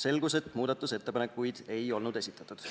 selgus, et muudatusettepanekuid ei olnud esitatud.